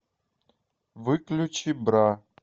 выключи бра